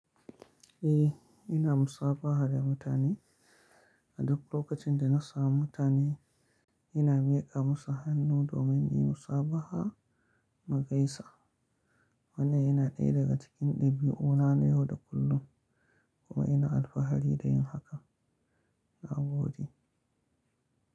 Eh, ina musabaha da mutane. A duk lokacin da na sami mutane ina miƙa musu hannu domin in yi musabaha mugaisa. Wannan yana ɗaya daga cikin ɗabi'una na yau da kullum kuma ina alfahari da yin hakan. Na gode.